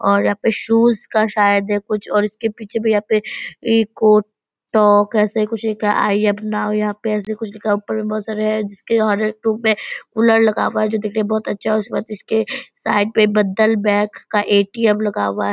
और यहाँ पे शूज़ का शायद है कुछ और इसके पीछे भी यहाँ पे इको टॉक ऐसे कुछ लिखा है आई एम नाउ यहाँ पे ऐसे कुछ लिखा है। ऊपर में बहोत सारे हैं जिसके और एक में कूलर लगा हुवा है जो दिखने में बहोत अच्छा है। इसके बाद इसके साइड में बदल बँक का ए.टी.एम. लगा हुआ है।